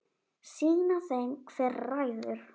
Sýna þeim hver ræður.